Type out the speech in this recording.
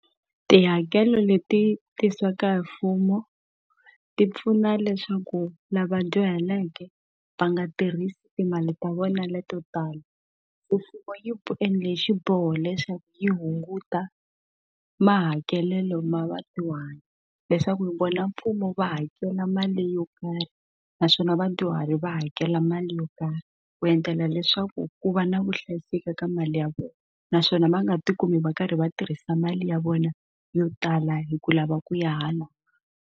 Tihakelo leti tirhisiwaka hi mfumo ti pfuna leswaku lava dyuhaleke va nga tirhisi timali ta vona leto tala mfumo yi endla hi xiboho leswaku yi hunguta mahakelelo ma vadyuhari leswaku vona mfumo va hakela mali yo karhi naswona vadyuhari va hakela mali yo karhi ku endlela leswaku ku va na vuhlayiseki ka mali ya vona naswona va nga tikumi va karhi va tirhisa mali ya vona yo tala hi ku lava ku ya hala.